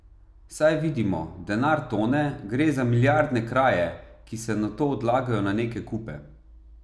Saj vidimo, denar tone, gre za milijardne kraje, ki se nato odlagajo na neke kupe.